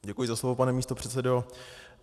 Děkuji za slovo, pane místopředsedo.